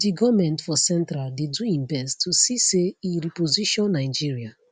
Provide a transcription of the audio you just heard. di goment for central dey do im best to see say e reposition nigeria